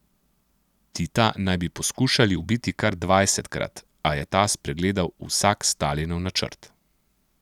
Tita naj bi poskušali ubiti kar dvajsetkrat, a je ta spregledal vsak Stalinov načrt.